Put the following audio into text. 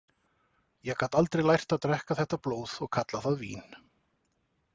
Ég gat aldrei lært að drekka þetta blóð og kalla það vín.